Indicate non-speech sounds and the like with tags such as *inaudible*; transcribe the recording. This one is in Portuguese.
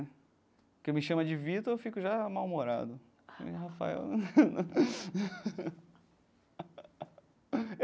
Porque me chama de Vitor, eu fico já mal-humorado. Que nem Rafael né. *laughs*